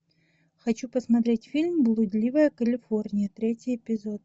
хочу посмотреть фильм блудливая калифорния третий эпизод